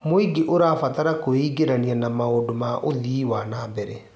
Mũingĩ ũrabatara kwĩingĩrania na maũndũ ma ũthii wa na mbere.